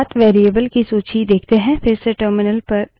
अब path path variable की value देखते हैं